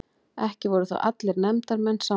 Ekki voru þó allir nefndarmenn sammála